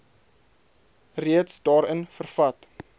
reeds daarin vervat